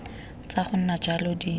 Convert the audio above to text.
tsa go nna jalo di